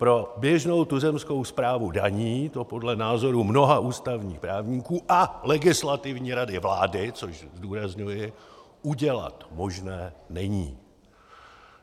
Pro běžnou tuzemskou správu daní to podle názoru mnoha ústavních právníků - a Legislativní rady vlády, což zdůrazňuji - udělat možné není.